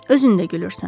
Özün də gülürsən.